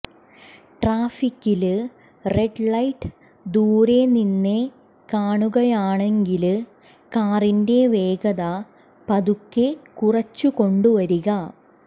ട്രാഫിക്കില് red light ദുരെ നിന്നേ കാണുകയാണെങ്കില് കാറിന്റെ വേഗത പതുക്കെ കുറച്ചുകൊണ്ടുവരിക